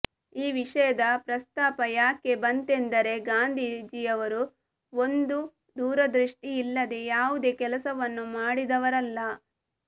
ಈ ವಿಷಯದ ಪ್ರಸ್ತಾಪ ಯಾಕೆ ಬಂತೆಂದರೆ ಗಾಂಧೀಜಿಯವರುಒಂದುದೂರದೃಷ್ಠಿ ಇಲ್ಲದೆ ಯಾವುದೇ ಕೆಲಸವನ್ನು ಮಾಡಿದವರಲ್ಲ